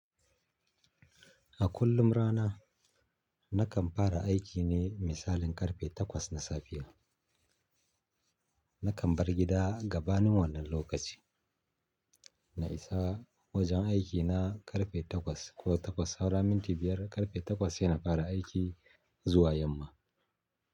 A kullum rana nakan fara aiki ne misalin karfe takwas na safiya. Nakan bar gida gabanin wannan lokaci. Na isa wajen aikina ƙarfe takwas ko takwas saura minti biyar. Karfe takwas yana fara aiki zuwa yamma.